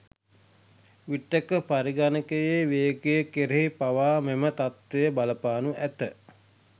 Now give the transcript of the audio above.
විටක පරිගණකයේ වේගය කෙරෙහි පවා මෙම තත්වය බලපානු ඇත.